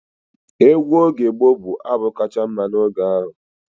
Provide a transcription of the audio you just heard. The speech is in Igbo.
Egwu oge gboo bụ abụ kacha mma n'oge ahụ.